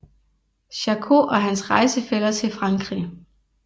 Charcot og hans rejsefæller til Frankrig